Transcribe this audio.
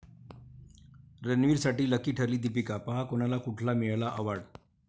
रणवीरसाठी lucky ठरली दीपिका, पहा कोणाला कुठला मिळाला अॅवाॅर्ड?